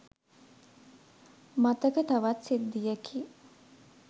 මතක තවත් සිද්ධියකි.